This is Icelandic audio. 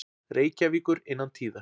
Reykjavíkur innan tíðar.